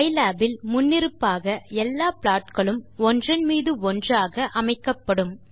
pylab இல் முன்னிருப்பாக எல்லா ப்ளாட் களும் ஒன்றன் மீது ஒன்றாக அமைக்கப்படும்